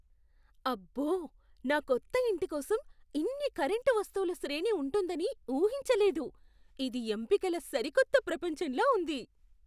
అబ్బో! నా కొత్త ఇంటి కోసం ఇన్ని కరెంటు వస్తువుల శ్రేణి ఉంటుందని ఊహించలేదు. ఇది ఎంపికల సరికొత్త ప్రపంచంలా ఉంది.